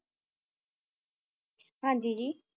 ਹਾਂਜੀ ਜੀ